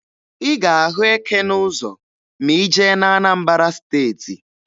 Ị ga-ahụ eke n'ụzọ ma ị jee na Anambara Steeti.